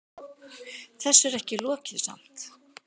Þessu er ekki lokið samt.